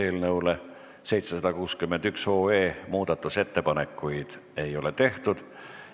Eelnõu 761 kohta muudatusettepanekuid ei ole tehtud.